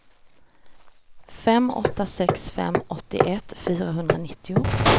fem åtta sex fem åttioett fyrahundranittio